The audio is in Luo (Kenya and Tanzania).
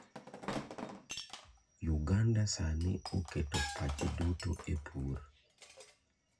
Uganda sani oketo pache duto e pur